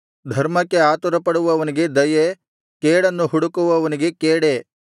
ಧರ್ಮಕ್ಕೆ ಆತುರಪಡುವವನಿಗೆ ದಯೆ ಕೇಡನ್ನು ಹುಡುಕುವವನಿಗೆ ಕೇಡೇ